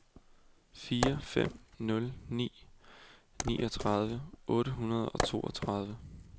fire fem nul ni niogtredive otte hundrede og toogtredive